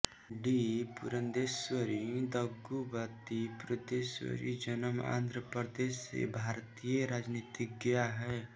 D Purandeswari Daggubati Purandeswari जन्म आन्ध्र प्रदेश से भारतीय राजनीतिज्ञा है